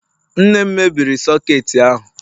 nne m mebiri soketi ahu